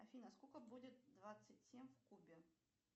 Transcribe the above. афина сколько будет двадцать семь в кубе